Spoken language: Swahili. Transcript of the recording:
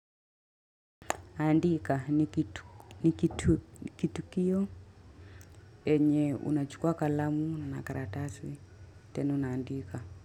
Andika ni kitu kiyo enye unachukua kalamu na karatasi tena unaandika.